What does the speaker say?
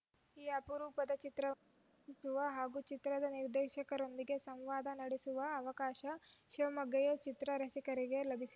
ಈ ಅಪರೂಪದ ಚಿತ್ರವನ್ನು ವೀಕ್ಷಿಸುವ ಹಾಗೂ ಚಿತ್ರದ ನಿರ್ದೇಶಕರೊಂದಿಗೆ ಸಂವಾದ ನಡೆಸುವ ಅವಕಾಶ ಶಿವಮೊಗ್ಗೆಯ ಚಿತ್ರ ರಸಿಕರಿಗೆ ಲಭಿಸಿ